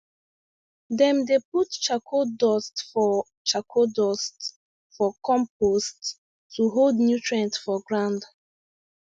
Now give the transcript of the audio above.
dem dey put charcoal dust for charcoal dust for compost to hold nutrient for ground